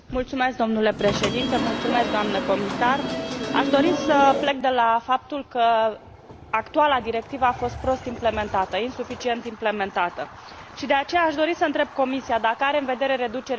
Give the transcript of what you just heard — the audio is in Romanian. Aș dori să plec de la faptul că actuala directivă a fost prost implementată, insuficient implementată și de aceea aș dori să întreb Comisia dacă are în vedere reducerea de TVA și pentru produse pe viitor